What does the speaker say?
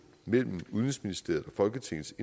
mellem udenrigsministeriet og folketingets